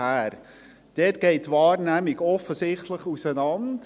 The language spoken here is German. – Hier geht die Wahrnehmung offensichtlich auseinander.